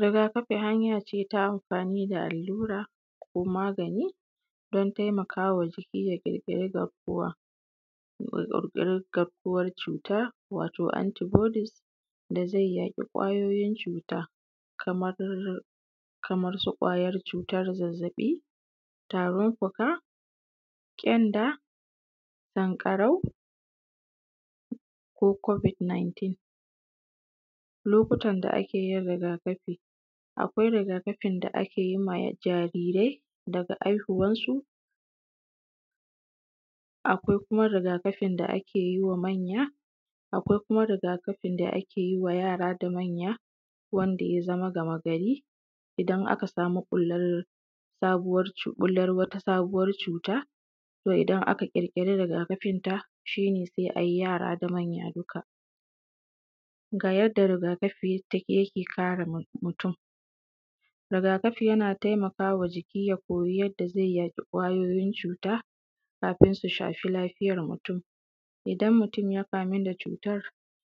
rigakafi hanya ce ta amfani da allura ko magani don taimakawa jiki ya ƙirƙiri garkuwar cuta watau antibodies da zai yaƙi kwayoyin cuta kamar su kwayar cutar zazzaɓi tarin fuƙa ƙyanda sanƙarau ko covid19 lokutan da ake yin rigakafi akwai rigakafin da ake yin ma jarirai daga haihuwan su akwai kuma rigakafin da ake yi wa manya akwai kuma rigakafin da ake yiwa yara da manya wanda ya zama gama gari idan aka samu ɓullar sabuwar ɓullar wata sabuwar cuta to idan aka ƙirƙiri rigakafin ta shi ne sai ayi yara da manya dukka ga yanda rigakafi yake kare mutum rigakafi yana taimaka wa jiki ya koyi yanda zai yaƙi kwayoyin cuta kafin su shafi lafiyan mutum idan mutum ya kamu da cutar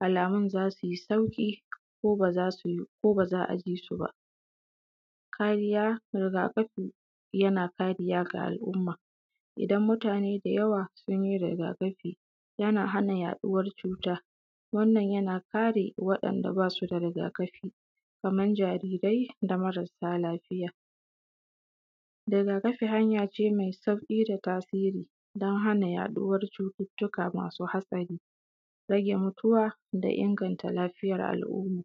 alamun za suyi sauƙi ko ba za a ji su ba kariya rigakafi yana kariya ga al’umma idan mutane da yawa sun yi rigakafi yana hana yaɗuwar cuta wannan yana kare waɗanda basu da rigakafi kaman jarirai da marasa lafiya rigakafi hanya ce mai sauƙi da tasiri don hana yaɗuwar cututtuka masu haɗari rage mutuwa da inganta lafiyar al’umma